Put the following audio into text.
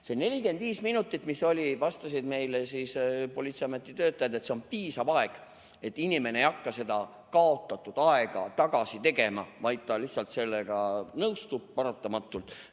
See 45 minutit, vastasid meile politseiameti töötajad, on piisav aeg, inimene ei hakka seda kaotatud aega tagasi tegema, ta lihtsalt nõustub sellega paratamatult.